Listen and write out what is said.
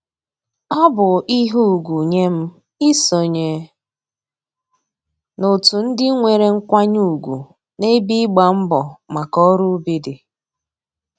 Ọ bụ ihe ugwu nye m isonye n'otu ndị nwere nkwanye ugwu n'ebe ịgba mbọ maka ọrụ ubi dị